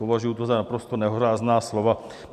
Považuji to za naprosto nehorázná slova.